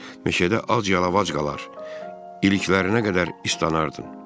Meşədə ac-yalavac qalar, iliklərinə qədər islanardın.